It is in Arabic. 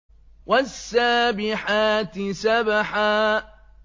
وَالسَّابِحَاتِ سَبْحًا